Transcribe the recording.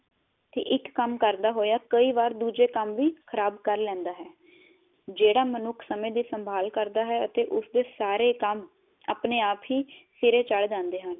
ਤੇ ਇਕ ਕੰਮ ਕਰਦਾ ਹੋਇਆ ਦੂਜੇ ਕੰਮ ਵ ਖਰਾਬ ਕਰ ਲੇੰਦਾ ਹੈ ਜੇਹੜਾ ਮਨੁਖ ਸਮੇ ਦੀ ਸੰਭਾਲ ਕਰਦਾ ਹੈ ਤੇ ਉਸਦੇ ਸਾਰੇ ਕੰਮ ਸਿਰੇ ਚੜ ਜਾਂਦੇ ਹਨ